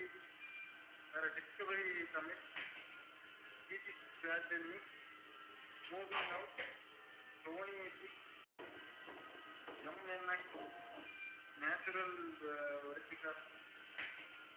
Discovery Tamil, BBC world news, movie now, Sony Pix, MNX, National geographic